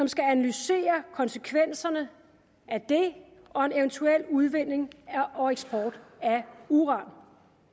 skal analysere konsekvenserne af det og en eventuel udvinding og eksport af uran